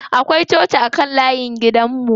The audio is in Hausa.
Akwai coci a kan layin gidan mu.